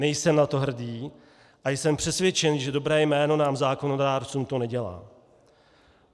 Nejsem na to hrdý a jsem přesvědčen, že dobré jméno nám zákonodárcům to nedělá.